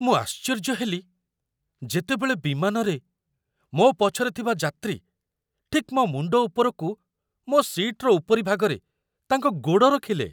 ମୁଁ ଆଶ୍ଚର୍ଯ୍ୟ ହେଲି ଯେତେବେଳେ ବିମାନରେ ମୋ ପଛରେ ଥିବା ଯାତ୍ରୀ ଠିକ୍ ମୋ ମୁଣ୍ଡ ଉପରକୁ ମୋ ସିଟ୍‌ର ଉପରିଭାଗରେ ତାଙ୍କ ଗୋଡ଼ ରଖିଲେ!